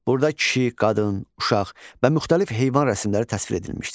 Burda kişi, qadın, uşaq və müxtəlif heyvan rəsimləri təsvir edilmişdir.